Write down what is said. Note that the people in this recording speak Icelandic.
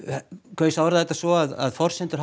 kaus að orða þetta svo að forsendur